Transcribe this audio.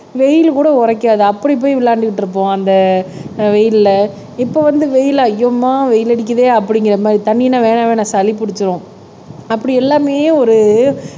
வெயில் கூட உரைக்காது அப்படி போய் விளையாண்டுட்டு இருப்போம் அந்த வெயில்ல இப்ப வந்து வெயில் அய்யோம்மா வெயில் அடிக்குதே அப்படிங்கற மாதிரி தண்ணின்னா வேணா வேணா சளி புடிச்சிரும் அப்படி எல்லாமே ஒரு